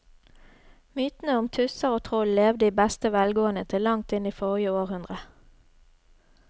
Mytene om tusser og troll levde i beste velgående til langt inn i forrige århundre.